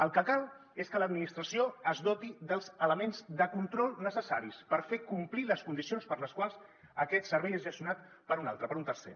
el que cal és que l’administració es doti dels elements de control necessaris per fer complir les condicions per les quals aquest servei és gestionat per un altre per un tercer